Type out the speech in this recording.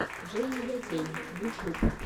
джейния гейн ютьюб